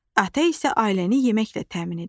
Ata isə ailəni yeməklə təmin edir.